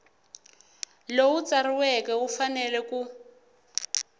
lowu tsariweke wu fanele ku